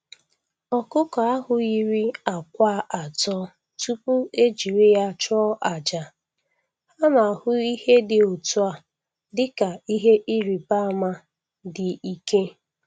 Ọkụkọ ahụ yiri àkwá atọ tupu e jiri ya chụọ àjà, a na-ahụ ihe dị otu a dị ka ihe ịrịba ama dị ike.